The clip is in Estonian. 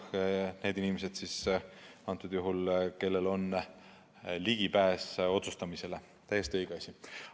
Et need on üldiselt inimesed, kellel on ligipääs otsustamisele, on täiesti õige asi.